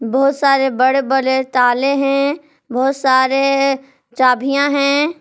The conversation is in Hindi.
बहोत सारे बड़े बड़े ताले है बहोत सारे चाभियां है।